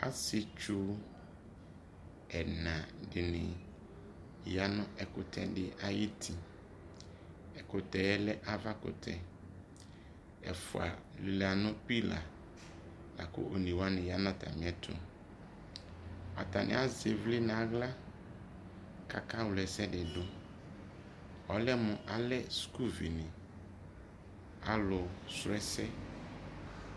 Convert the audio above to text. asietsu ɛna di ni ya no ɛkutɛ di ayi uti, ɛkutɛ ye lɛ ava kutɛ ɛfua lela no pillar lako one wane ya no atame ɛto ata ne azɛ ivle no ala ko aka wla ɛsɛ di do ɔlɛmo alɛ sukuvi ne, alo srɔ ɛsɛ